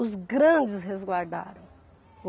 Os grandes resguardaram.